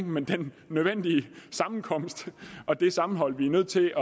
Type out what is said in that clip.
men det er en nødvendig sammenkomst og et sammenhold vi er nødt til